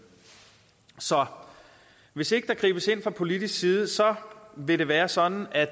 så hvis ikke der gribes ind fra politisk side vil det være sådan at